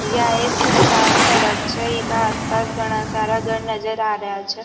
यह एक सुन सान सड़क छे इका आस पास घड़ा सारा घर नजर आ रेहा छे --